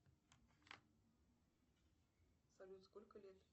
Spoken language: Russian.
салют сколько лет